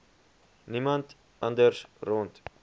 niemand anders rond